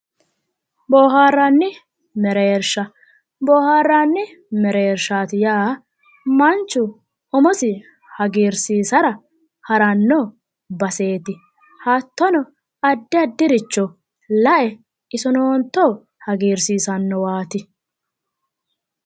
Boohaarranni mereersha boohaarranni meereershaati yaa manchu umosi hagiirsiisara haranno baseeti hattono addi addiricho la"ayi isonooto hagiirsiisannowaati